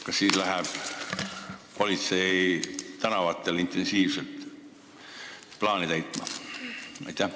Kas siis läheb politsei tänavatele intensiivselt plaani täitma?